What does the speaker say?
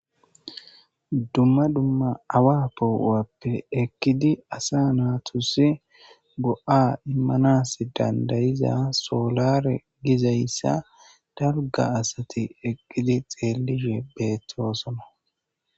dumma dumma awa poowappe eqkidi asa naatusi go7a immanas dandayiza soolare gizayssa darga asati eqqidi xeellihe beettoosona